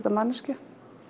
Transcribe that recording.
af manneskju